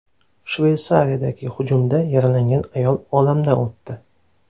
Shveysariyadagi hujumda yaralangan ayol olamdan o‘tdi.